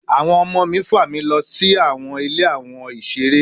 Awọn ọmọ mi fa mi lọ si awọn Ile awon isere